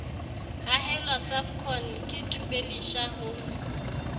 hahelwa servcon ke thubelisha homes